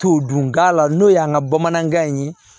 To dunda la n'o y'an ka bamanankan in ye